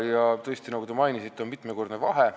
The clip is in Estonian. Tõesti, nagu te mainisite, on mitmekordne vahe.